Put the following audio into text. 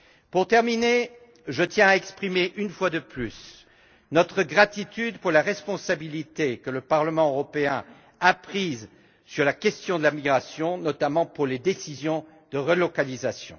Pour terminer, je tiens à exprimer une fois de plus notre gratitude pour la responsabilité que le Parlement européen a prise sur la question de la migration, notamment pour les décisions de relocalisation.